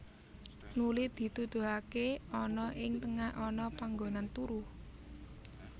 Nuli dituduhaké ana ing tengah ana panggonan turu